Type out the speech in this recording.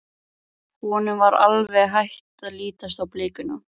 Honum var alveg hætt að lítast á blikuna.